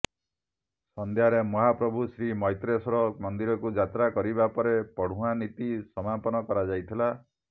ସନ୍ଧ୍ୟାରେ ମହାପ୍ରଭୁ ଶ୍ରୀ ମ୘ତ୍ରେଶ୍ୱର ମନ୍ଦିରକୁ ଯାତ୍ରା କରିବା ପରେ ପଢ଼ୁଆଁ ନୀତି ସମାପନ କରାଯାଇଥିଲା